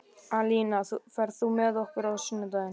Alína, ferð þú með okkur á sunnudaginn?